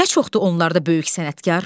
Nə çoxdur onlarda böyük sənətkar!